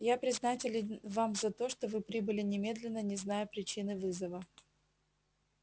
я признателен вам за то что вы прибыли немедленно не зная причины вызова